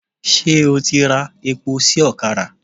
Ṣé o ti ra epo sí ọ̀kadà?